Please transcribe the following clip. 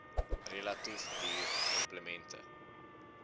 relatief duur implemente